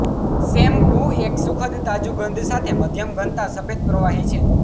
shampoo એક સુખદ તાજું ગંધ સાથે મધ્યમ ઘનતા સફેદ પ્રવાહી છે